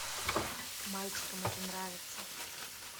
мальчикам это нравится